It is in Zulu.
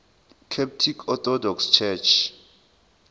coptic orthodox church